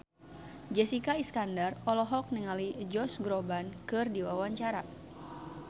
Jessica Iskandar olohok ningali Josh Groban keur diwawancara